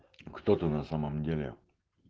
кто ты на самом деле